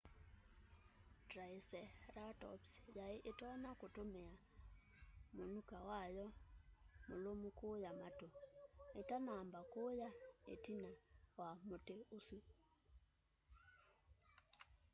triceratops yai itonya kutumia munyuka wayo mulumu kuya matu itanamba kuya itina ya muti usu